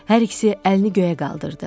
Hər ikisi əlini göyə qaldırdı.